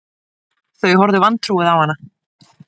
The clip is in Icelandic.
Þau horfðu vantrúuð á hana